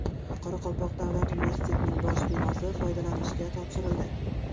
Qoraqalpoq davlat universitetining bosh binosi foydalanishga topshirildi .